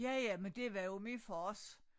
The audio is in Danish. Ja ja men det var jo min fars